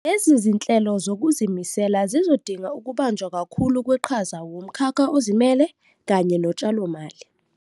Lezi zinhlelo zokuzimisela zizodinga ukubanjwa kakhulu kweqhaza wumkhakha ozimele kanye notshalomali.